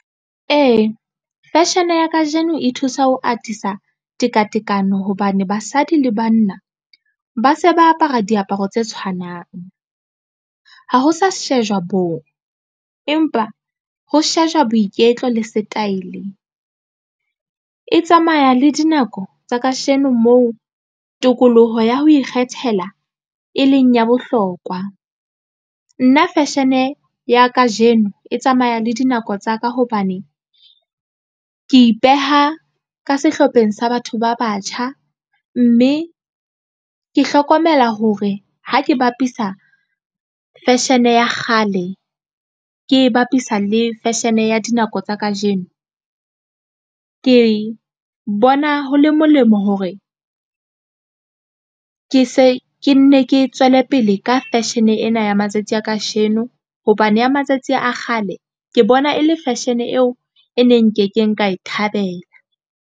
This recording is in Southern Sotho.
Ee, fashion-e ya kajeno e thusa ho atisa tekatekano hobane basadi le banna ba se ba apara diaparo tse tshwanang ha ho sa shejwa boo, empa ho shejwa boiketlo le setaele e tsamaya le dinako tsa kajeno moo tokoloho ya ho ikgethela e leng ya bohlokwa. Nna fashion-e ya kajeno e tsamaya le dinako tsa ka hobane ke ipeha ka sehlopheng sa batho ba batjha mme ke hlokomela hore ha ke bapisa fashion ya kgale ke e bapisa le fashion ya dinako tsa kajeno ke bona ho le molemo hore ke se ke nne ke tswele pele ka fashion-e ena ya matsatsing a kasheno hobane ya matsatsi a kgale ke bona e le fashion eo e neng nke keng ka e thabela.